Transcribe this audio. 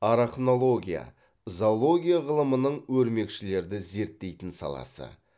арахнология зоология ғылымының өрмекшілерді зерттейтін саласы